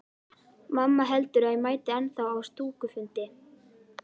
Mamma heldur að ég mæti ennþá á stúkufundi.